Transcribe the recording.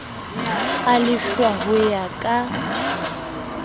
a lefshwa ho ya ka